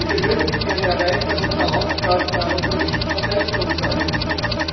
Wir benötigen eine Erweiterung der Aufgaben der europäischen Verteidigungsagentur.